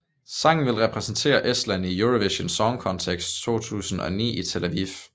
Sangen vil repræsentere Estland i Eurovision Song Contest 2019 i Tel Aviv